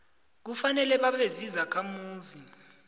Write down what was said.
kufanele babe zizakhamuzi